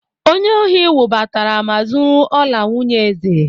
Onye ohị wụbatara ma zúrú ọlà nwunyé èzè